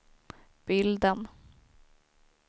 bilden